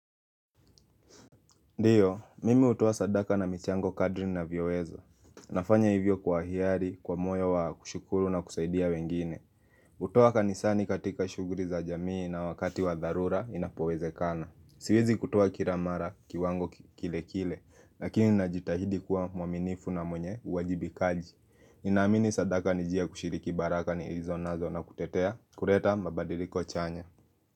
Ndiyo, mimi hutoa sadaka na michango kadri ninavyoweza. Nafanya hivyo kwa hiari, kwa moyo wa kushukuru na kusaidia wengine. Kutoa kanisani katika shuguli za jamii na wakati wa dharura inapowezekana. Siwezi kutoa kila mara kiwango kile kile, lakini najitahidi kuwa mwaminifu na mwenye uwajibikaji. Ninaamini sadaka ni njia ya kushiriki baraka nilizonazo na kutetea. Kureta mabadiliko chanya.